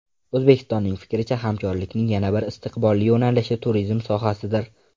O‘zbekistonning fikricha, hamkorlikning yana bir istiqbolli yo‘nalishi turizm sohasidir.